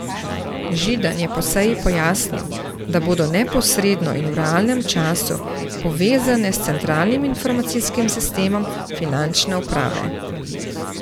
Židan je po seji pojasnil, da bodo neposredno in v realnem času povezane s centralnim informacijskim sistemom finančne uprave.